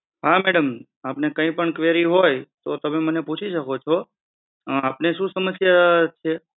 હા madam આપને કઈ પણ query હોય તો તમે મને પૂછી શકો છો આપને શું સમસ્યા છે?